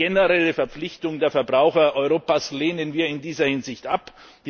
Eine generelle Verpflichtung der Verbraucher in Europa lehnen wir in dieser Hinsicht ab.